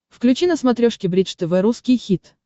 включи на смотрешке бридж тв русский хит